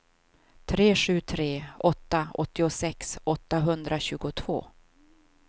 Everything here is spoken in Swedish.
tre sju tre åtta åttiosex åttahundratjugotvå